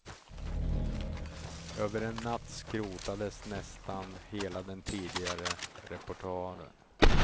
Över en natt skrotades nästan hela den tidigare repertoaren.